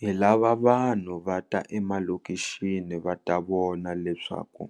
Hi lava vanhu va ta emalokixini va ta vona leswaku